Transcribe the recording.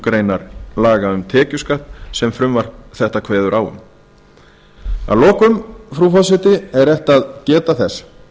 grein laga um tekjuskatt sem frumvarp þetta kveður á um að lokum frú forseti er rétt að geta þess